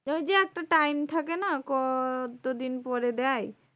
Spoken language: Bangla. ওই যে একটা time থাকে না? ক কত দিন পরে দেয়?